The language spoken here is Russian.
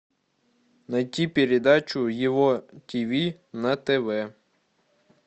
найти передачу его тв на тв